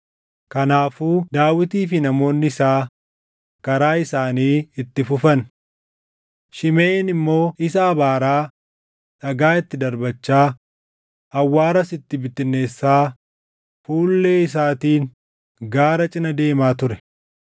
Kanaafuu Daawitii fi namoonni isaa karaa isaanii itti fufan; Shimeʼiin immoo isa abaaraa, dhagaa itti darbachaa, awwaaras itti bittinneessaa fuullee isaatiin gaara cina deemaa ture.